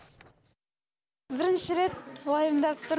бірінші рет уайымдап тұрмын